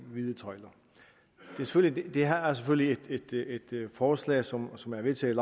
vide tøjler det her er selvfølgelig et forslag som som er vedtaget